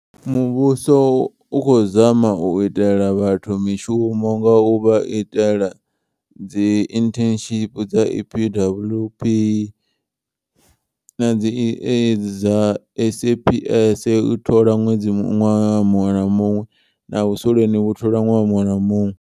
Muvhuso u khou zama u itela vhathu mishumo nga u vha itela dzi internship. Dza E_P_W_P na edzi dza S_A_P_S u thola ṅwedzi ṅwaha muṅwe na muṅwe na vhusoleni vhu thola ṅwaha muṅwe na muṅwe.